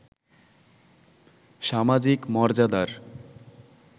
সামাজিক মর্যাদার